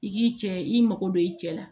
I k'i cɛ i mako don i cɛ la